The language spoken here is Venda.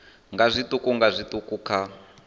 nga zwiṱuku nga zwiṱuku kha